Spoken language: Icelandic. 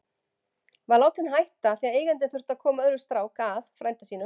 Var látinn hætta af því að eigandinn þurfti að koma öðrum strák að, frænda sínum.